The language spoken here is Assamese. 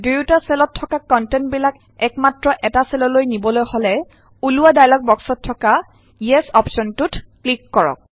দুয়ুটা চেলত থকা কন্টেন্ট বিলাক এক মাত্ৰ এটা চেললৈ নিবলৈ হলে ওলোৱা ডায়লগ বক্সত থকা ইয়েছ অপশ্যনটোত ক্লিক কৰক